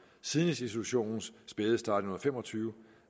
siden institutionens spæde start i nitten fem og tyve